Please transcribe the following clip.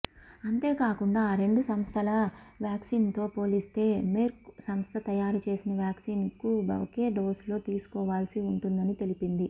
అంతేకాకుండా ఆ రెండు సంస్థల వ్యాక్సిన్తో పోలిస్తే మెర్క్ సంస్థ తయారుచేసిన వ్యాక్సిన్ను ఒకే డోసులో తీసుకోవాల్సి ఉంటుందని తెలిపింది